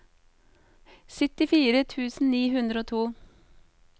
syttifire tusen ni hundre og to